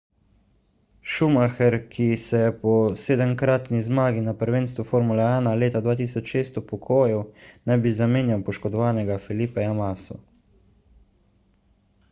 schumacher ki se je po sedemkratni zmagi na prvenstvu formule 1 leta 2006 upokojil naj bi zamenjal poškodovanega felipeja masso